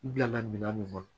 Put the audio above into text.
U bila la minan min kɔnɔ